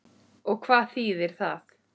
Og hvað þýðir það?